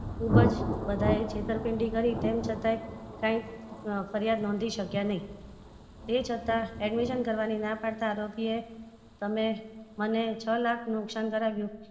ખુબજ બધાએ છેતરપીન્ડી કરી તેમ છતાં એ ફરિયાદ નોધી શક્યા નહિ તે છતાં admission કરવાની ના પાડતાં આરોપી એ તમે મને છ લાખ નું નુકસાન કરાવ્યું